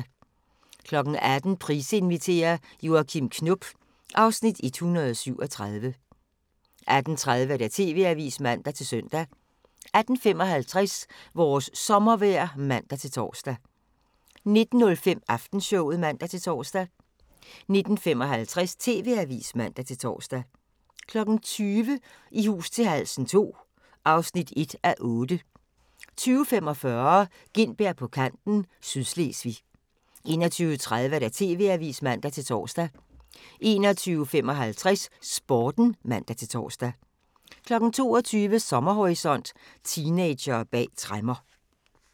18:00: Price inviterer - Joachim Knop (Afs. 137) 18:30: TV-avisen (man-søn) 18:55: Vores sommervejr (man-tor) 19:05: Aftenshowet (man-tor) 19:55: TV-avisen (man-tor) 20:00: I hus til halsen II (1:8) 20:45: Gintberg på kanten - Sydslesvig 21:30: TV-avisen (man-tor) 21:55: Sporten (man-tor) 22:00: Sommerhorisont: Teenagere bag tremmer